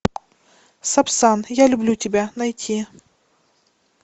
сапсан я люблю тебя найти